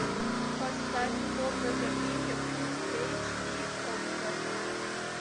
поставь комната в риме фулл эйч ди окко